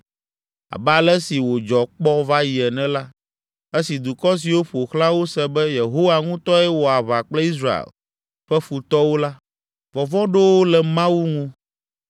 Abe ale si wòdzɔ kpɔ va yi ene la, esi dukɔ siwo ƒo xlã wo se be, Yehowa ŋutɔe wɔ aʋa kple Israel ƒe futɔwo la, vɔvɔ̃ ɖo wo le Mawu ŋu.